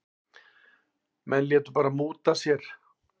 Menn létu bara múta sér.